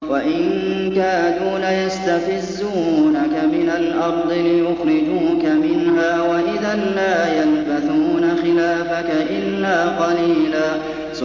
وَإِن كَادُوا لَيَسْتَفِزُّونَكَ مِنَ الْأَرْضِ لِيُخْرِجُوكَ مِنْهَا ۖ وَإِذًا لَّا يَلْبَثُونَ خِلَافَكَ إِلَّا قَلِيلًا